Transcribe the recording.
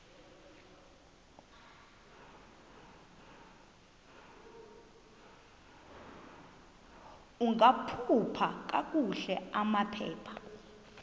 ungakhupha kakuhle amaphepha